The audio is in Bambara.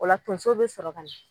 O la tonso be sɔrɔ ka